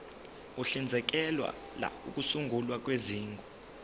uhlinzekela ukusungulwa kwezigungu